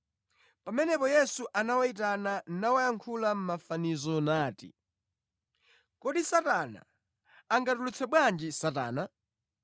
Pamenepo Yesu anawayitana nawayankhula mʼmafanizo nati: “Kodi Satana angatulutse bwanji Satana?